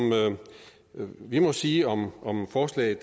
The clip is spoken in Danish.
vi må sige om om forslaget